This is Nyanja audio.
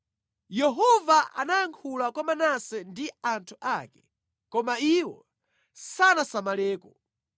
Yehova anayankhula kwa Manase ndi anthu ake, koma iwo sanasamaleko.